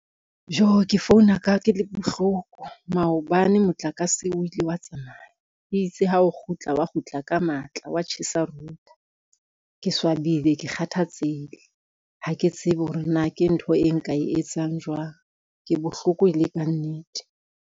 Jo ke founa ka ke le bohloko maobane motlakase, o ile wa tsamaya, itse ha o kgutla wa kgutla ka matla wa tjhesa router. Ke swabile, ke kgathatsehile ha ke tsebe hore na ke ntho e nka e etsang jwang. Ke bohloko e le ka nnete.